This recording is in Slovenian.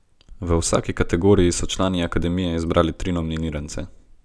V vsaki kategoriji so člani Akademije izbrali tri nominirance.